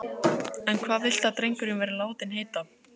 En hvað viltu að drengurinn verði látinn heita?